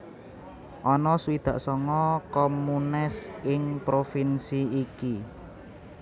Ana swidak sanga communes ing provinsi ki